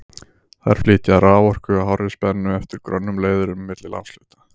Þær flytja raforku á hárri spennu eftir grönnum leiðurum milli landshluta.